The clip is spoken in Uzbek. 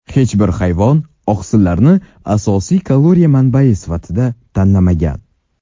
Hech bir hayvon oqsillarni asosiy kaloriya manbai sifatida tanlamagan.